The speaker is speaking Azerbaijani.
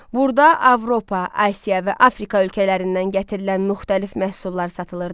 Burada Avropa, Asiya və Afrika ölkələrindən gətirilən müxtəlif məhsullar satılırdı.